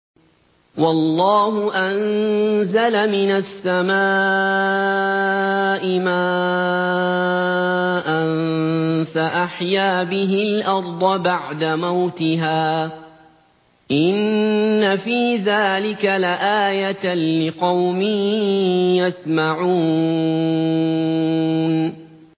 وَاللَّهُ أَنزَلَ مِنَ السَّمَاءِ مَاءً فَأَحْيَا بِهِ الْأَرْضَ بَعْدَ مَوْتِهَا ۚ إِنَّ فِي ذَٰلِكَ لَآيَةً لِّقَوْمٍ يَسْمَعُونَ